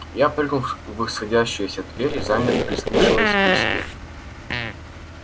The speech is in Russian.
я прыгнул в сходящиеся двери замер прислушиваясь к себе